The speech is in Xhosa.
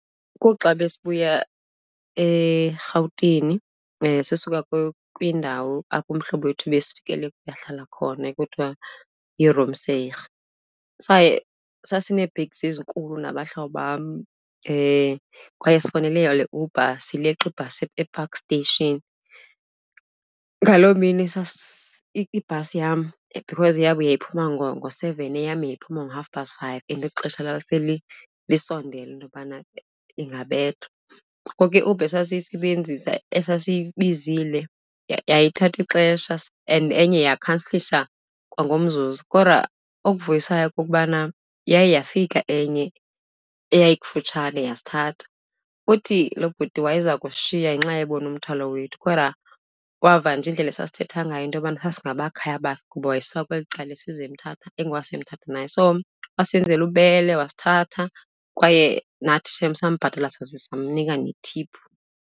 Kuxa besibuya eRhawutini sisuka kwindawo apho umhlobo wethu ebesifikele kuye, ahlala khona ekuthiwa . Saye sasinee-bags ezinkulu nabahlobo bam kwaye sifowunele iUber sileqa ibhasi ePark Station. Ngaloo mini ibhasi yam, because eyabo yayiphuma ngo-seven, eyam yayiphuma ngo-half past five and ixesha lisondele into yobana ingabethwa. Ngoku iUber esasiyisebenzisa, esasiyibizile yayithatha ixesha and enye yakhansilasha kwangomzuzu kodwa okuvuyisayo kukubana yaye yafika enye eyayikufutshane yasithatha. Uthi lo bhuti wayeza kushiya ngenxa ebona umthwalo wethu kodwa wava nje indlela esasithetha ngayo into yokubana sasingabakhaya bakhe ngoba wayesuka kweli cala, esiza eMthatha, engowaseMthatha naye. So wasenzela ububele wasithatha kwaye nathi shem, sambhatala saze samnika nethiphu.